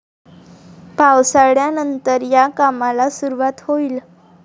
पावसाळ्यानंतर या कामाला सुरूवात होईल.